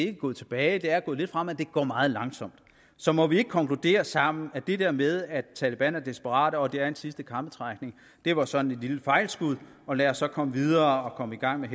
er gået tilbage det er gået lidt frem men at det går meget langsomt så må vi ikke konkludere sammen at det der med at taleban er desperat og at det er en sidste krampetrækning var sådan et lille fejlskud og lad os så komme videre og komme i gang med